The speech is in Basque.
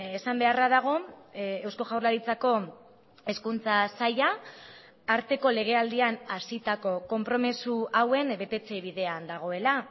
esan beharra dago eusko jaurlaritzako hezkuntza saila arteko legealdian hasitako konpromiso hauen betetze bidean dagoela